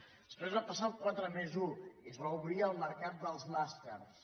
després es va passar al quatre+un i es va obrir el mercat dels màsters